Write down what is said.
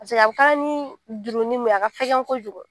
Paseke a bɛ kɛ ni jurumu mun ye a ka fɛgɛn kojugu.